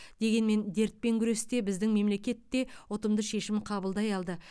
дегенмен дертпен күресте біздің мемлекет те ұтымды шешім қабылдай алды